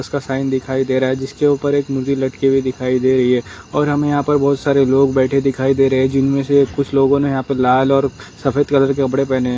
उसका साइन दिखाई दे रहा जिस के उपर एक मूली लटकी हुई दिखाई दे रही है और हमे यहा पर बहोत सारे लोग बैठे दिखाई दे रहे जिन मे से कुछ लोगों ने यहापे लाल और सफेद कलर की कपडे पहेने है।